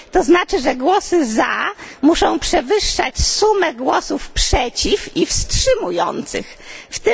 To znaczy, że głosy za muszą przewyższać sumę głosów przeciw i wstrzymujących się.